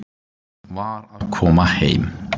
Var að koma heim.